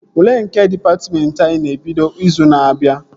Ule nke dịpatmentị anyị ga-ebido izu na-abịa